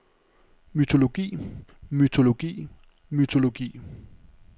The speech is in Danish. mytologi mytologi mytologi